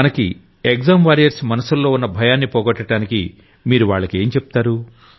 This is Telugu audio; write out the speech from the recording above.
మకి ఎగ్జామ్ వారియెర్స్ మనసుల్లో ఉన్న భయాన్ని పోగొట్టడానికి మీరు వాళ్లకేం చెబుతారు